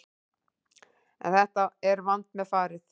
En þetta er vandmeðfarið